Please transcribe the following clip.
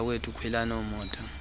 bantakwethu khwelani emotweni